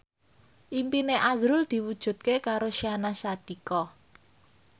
impine azrul diwujudke karo Syahnaz Sadiqah